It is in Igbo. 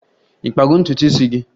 Ị kpago ntutu isi gị?